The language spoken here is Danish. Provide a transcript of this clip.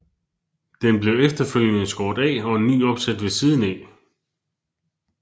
Den blev efterfølgende skåret af og en ny opsat ved siden af